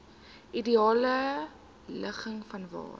ideale ligging vanwaar